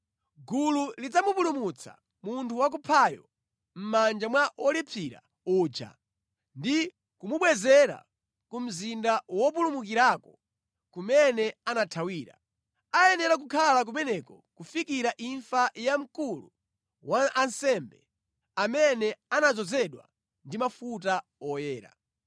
Gulu lidzapulumutsa munthu wakuphayo mʼmanja mwa wolipsira uja ndi kumubwezera ku mzinda wopulumukirako kumene anathawira. Ayenera kukhala kumeneko kufikira imfa ya mkulu wa ansembe, amene anadzozedwa ndi mafuta oyera.